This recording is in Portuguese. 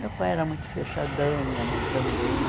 Meu pai era muito fechadão, minha mãe também.